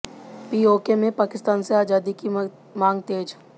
PoK में पाकिस्तान से आजादी की मांग तेज